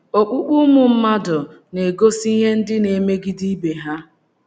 Okpukpe ụmụ mmadụ na - egosi ihe ndị na - emegide ibe ha.